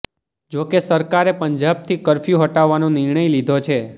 જોકે સરકારે પંજાબથી કર્ફ્યુ હટાવવાનો નિર્ણય લીધો છે